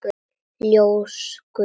Ljós guðs.